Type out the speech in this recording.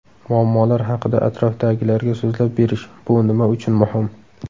Muammolar haqida atrofdagilarga so‘zlab berish: Bu nima uchun muhim?.